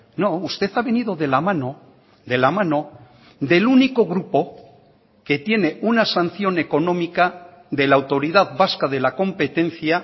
no usted ha venido de la mano de la mano del único grupo que tiene una sanción económica de la autoridad vasca de la competencia